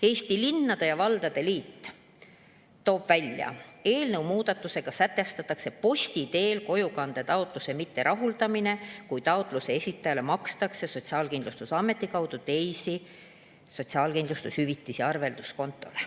Eesti Linnade ja Valdade Liit toob välja: "Eelnõu muudatustega sätestatakse posti teel kojukande taotluse mitterahuldamine, kui taotluse esitajale makstakse Sotsiaalkindlustusameti kaudu teisi sotsiaalkindlustushüvitisi arvelduskontole.